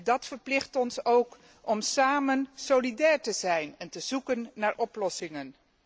Dat verplicht ons ook om samen solidair te zijn en te zoeken naar oplossingen.